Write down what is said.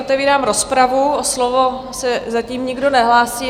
Otevírám rozpravu, o slovo se zatím nikdo nehlásí.